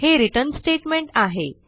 हे return statement आहे